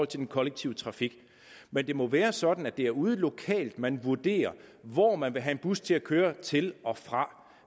til den kollektive trafik men det må være sådan at det er ude lokalt man vurderer hvor man vil have en bus til at køre til og fra